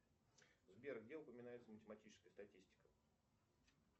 сбер где упоминается математическая статистика